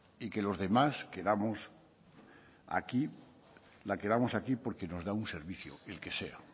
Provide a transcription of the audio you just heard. y que los demás la queramos aquí porque nos da un servicio el que sea